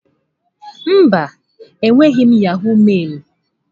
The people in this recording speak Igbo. Mba, enweghị m yahọ̀g mailụ.